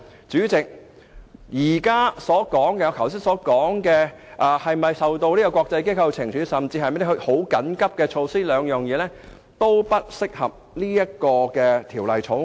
主席，我剛才談到是否受到國際機構懲處的問題，或是否有需要採取緊急措施，但兩者也不適用於本《條例草案》。